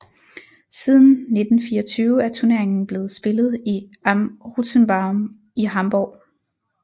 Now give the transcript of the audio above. Siden 1924 er turneringen blevet spillet i Am Rothenbaum i Hamborg